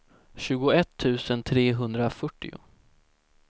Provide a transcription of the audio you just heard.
tjugoett tusen trehundrafyrtio